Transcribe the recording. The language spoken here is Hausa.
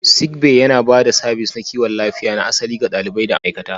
Sick Bay yana ba da sabis na kiwon lafiya na asali ga ɗalibai da ma'aikata.